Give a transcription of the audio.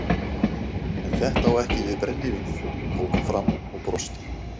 En þetta á ekki við brennivínið tók hann fram og brosti.